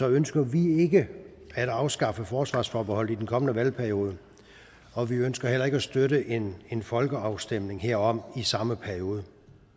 ønsker vi ikke at afskaffe forsvarsforbeholdet i den kommende valgperiode og vi ønsker heller ikke at støtte en en folkeafstemning herom i samme periode